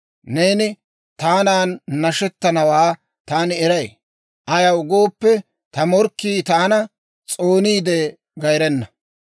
Neeni taanan nashettanawaa taani eray; Ayaw gooppe, ta morkkii taana, s'ooniide gayrena.